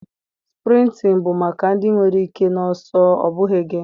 sprịntịn bụ maka ndị nwere ike na ọsọ, ọ bụghị gị